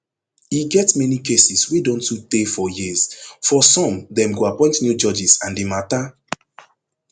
e get many cases wey don too tey for years for some dem go appoint new judges and di mata